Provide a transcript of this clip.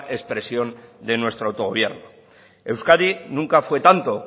expresión de nuestro autogobierno euskadi nunca fue tanto